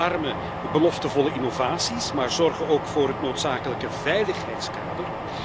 We omarmen beloftevolle innovaties, maar zorgen ook voor het noodzakelijke veiligheidskader.